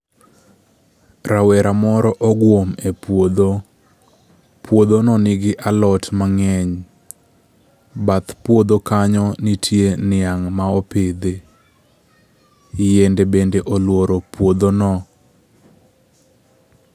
Rawera moro ogwom e puodho. Puodhono nigi alot mang'eny. Bath puodho kanyo nitie niang' ma opidhi. Yiende bende oluoro puodho no.